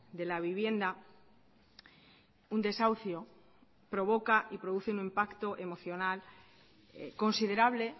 de la vivienda un desahucio provoca y produce un impacto emocional considerable